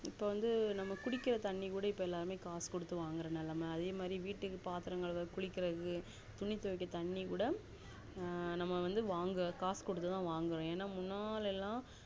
இப்போ வந்து நம்ம குடிக்குற தண்ணி கூட இப்போ எல்லாம் காசு குடுத்து வாங்குற நெலம அதுமாதிரி வீட்டுக்கு பாத்திரம் கழுவ குளிக்குரதுக்கு துணி துவைக்க தண்ணி கூட ஹான் நம்ம வந்து வாங்க காசு குடுத்து தான் வாங்குரோம் ஏனாமுன்னல்லெலாம்